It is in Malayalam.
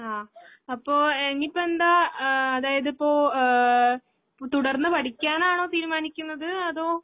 ആ അപ്പോ ഇനിയിപ്പയെന്താ ആഹ് അതായിതിപ്പോ ഏഹ് തുടർന്ന്പഠിക്കാനാണോതീരുമാനിക്കുന്നത് അതോ